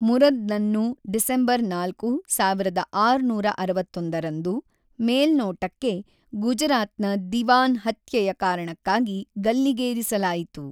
ಮುರದ್‌ ನನ್ನು ಡಿಸೆಂಬರ್ ನಾಲ್ಕು, ಸಾವಿರದ ಆರುನೂರ ಅರವತ್ತೊಂದರಂದು, ಮೇಲ್ನೋಟಕ್ಕೆ, ಗುಜರಾತ್ ನ ದಿವಾನ್ ಹತ್ಯೆಯ ಕಾರಣಕ್ಕಾಗಿ ಗಲ್ಲಿಗೇರಿಸಲಾಯಿತು.